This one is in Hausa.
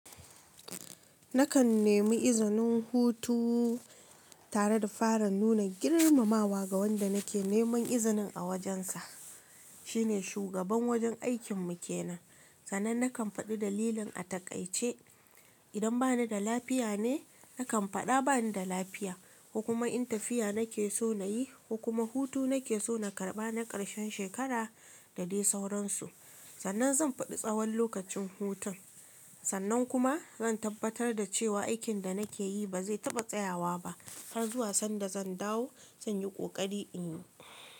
Nakan nemi izinin hutu tare da fara nuna girmamawa ga wanda nake neman izinin a wajensa. Shi ne shugaban wajen aikin mu kenan. Sannan nakan faɗi dalilin a taƙaice. Idan bani da lafiya ne, nakan faɗa bani da lafiya, ko kuma in tafiya nake so na yi, ko kuma hutu nake so na karɓa na ƙarshen shekara da dai sauransu. Sannan zan faɗi tsawon lokacin hutun. Sannan kuma zan tabbatar da cewa aikin da nikeyi ba zai taɓa tsayawa ba, har zuwa sanda zan dawo zanyi ƙoƙari inyi.